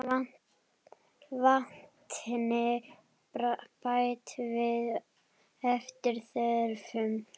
Vatni bætt við eftir þörfum.